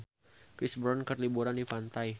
Chris Brown keur liburan di pantai